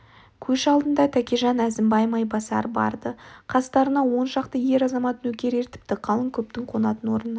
көш алдында тәкежан әзімбай майбасар бар-ды қас-тарына он шақты ер-азамат нөкер ертіпті қалың көптің қонатын орнына